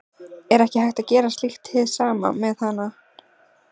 Er ekki hægt að gera slíkt hið sama með hanana?